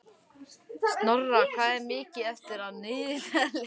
Snorra, hvað er mikið eftir af niðurteljaranum?